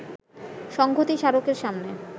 সংঘতি স্মারকের সামনে